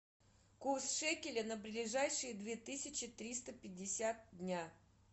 курс шекеля на ближайшие две тысячи триста пятьдесят дня